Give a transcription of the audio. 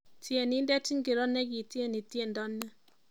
Tienindet ingiro nikitieni tiendo ni